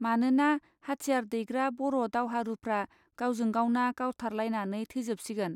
मानोना हाथियार दैग्रा बर' दावहारूफ्रा गावजों गावना गावथारलायनानै थैजोबसिगोन.